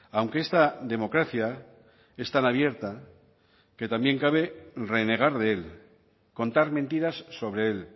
aunque esta democracia es tan abierta que también cabe renegar de él contar mentiras sobre él